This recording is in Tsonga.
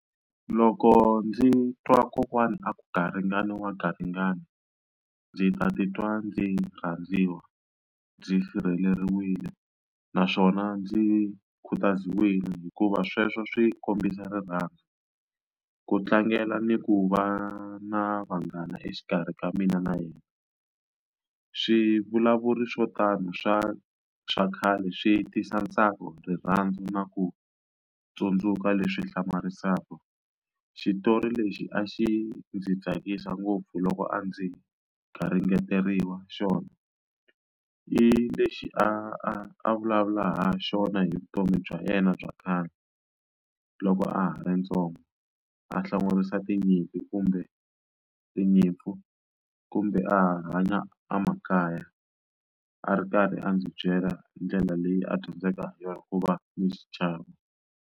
Loko ndzi twa kokwani a ku garingani wa garingani ndzi ta titwa ndzi rhandziwa ndzi sirheleriwile naswona ndzi khutaziwile hikuva sweswo swi kombisa rirhandzu ku tlangela ni ku va na vanghana exikarhi ka mina na yena swivulavulo swo tano swa swa khale swi tisa ntsako rirhandzu na ku tsundzuka leswi hlamarisaka xitori lexi a xi ndzi tsakisa ngopfu loko a ndzi garingeriwa xona i lexi a vulavula ha xona hi vutomi bya yena bya kahle loko a ha ri ntsongo a hlongorisa tinyimpi kumbe tinyimpfu kumbe a hanya emakaya a ri karhi a ndzi byela ndlela leyi a dyondzeke hi yona ku va ni xichavo.